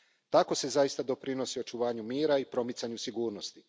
Tako se zaista doprinosi očuvanju mira i promicanju sigurnosti.